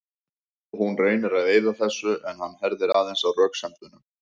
Hún reynir að eyða þessu en hann herðir aðeins á röksemdunum.